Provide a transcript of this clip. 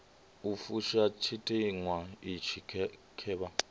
u fusha tshiteṅwa itshi khevha